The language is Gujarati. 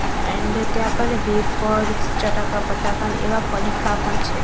એન્ડ ત્યાં કને વેફર્સ ચટાકા પટાકા એવા પડીકા પણ છે.